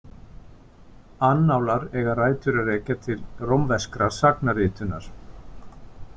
Annálar eiga rætur að rekja til rómverskrar sagnaritunar.